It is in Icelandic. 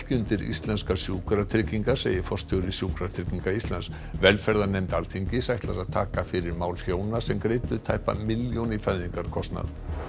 undir íslenskar sjúkratryggingar segir forstjóri Sjúkratrygginga Íslands velferðarnefnd Alþingis ætlar að taka fyrir mál hjóna sem greiddu tæpa milljón í fæðingarkostnað